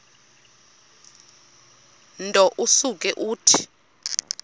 nto usuke uthi